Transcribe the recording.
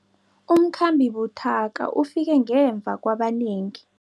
Umkhambi buthaka ufike ngemva kwabanengi.